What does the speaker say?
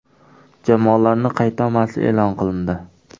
Jamoalarning qaydnomasi e’lon qilindi.